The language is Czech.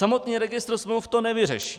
Samotný registr smluv to nevyřeší.